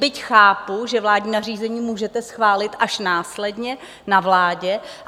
Byť chápu, že vládní nařízení můžete schválit až následně na vládě.